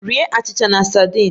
Rie achịcha na sadin!